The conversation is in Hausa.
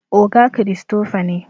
oga Christopher ne